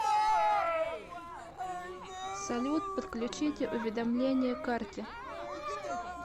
салют подключите уведомления карте